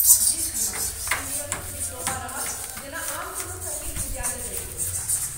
जी, श्रीमान, ई नियमित डिप्लोमा रहत जेना आन कोनो सङ्गीत विद्यालय दैत अछि।